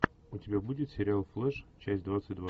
у тебя будет сериал флеш часть двадцать два